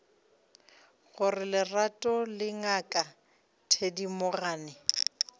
gore lerato le ngaka thedimogane